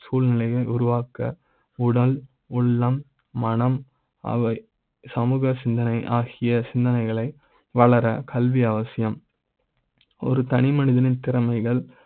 சூழ்நிலை யை உருவாக்க உடல் உள்ளம் மனம் அவை சமூக சிந்தனை ஆகிய சிந்தனைகளை வளர கல்வி அவசியம் ஒரு தனிமனித னின் திறமைகள்